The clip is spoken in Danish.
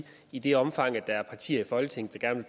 i det omfang der er partier i folketinget der gerne